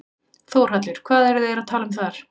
Þórhallur: Hvað eru þeir að tala um þar?